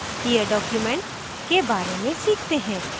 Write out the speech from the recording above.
here document के बारे में सीखते हैं